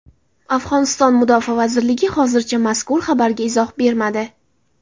Afg‘oniston mudofaa vazirligi hozircha mazkur xabarga izoh bermadi.